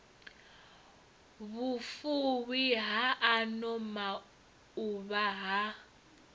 vhufuwi ha ano mauvha ha